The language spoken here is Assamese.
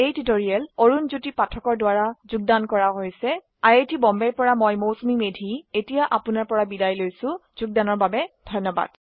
এই পাঠটি অৰুন পাঠকে যোগদান কৰিছে আই আই টী বম্বে ৰ পৰা মই মৌচুমী মেধী এতিয়া আপুনাৰ পৰা বিদায় লৈছো যোগদানৰ বাবে ধন্যবাদ